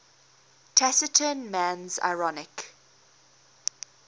taciturn man's ironic